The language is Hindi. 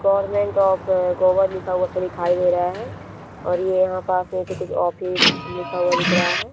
गव्हर्नमेंट ऑफ़ गोवा लिखा हुआ सा दिखाई दे रहा है और यहाँ पे पास में कुछ ऑफिस लिखा हुआ दिख रहा है।